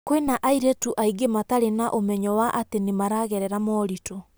" Kwĩna airĩtu aingĩ matarĩ na ũmenyo wa atĩ nĩ maragerera mooritũ.